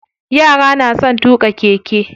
Yara na son tuƙa keke.